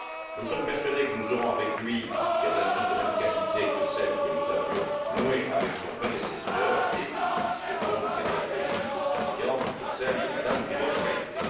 Nous sommes persuadés que nous aurons avec lui des relations de même qualité que celles que nous avions nouées avec son prédécesseur et nous lui souhaitons une carrière politique aussi brillante que celle de M me Grybauskaité.